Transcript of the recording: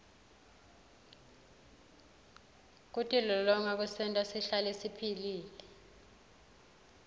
kutilolonga kusenta sihlale siphilile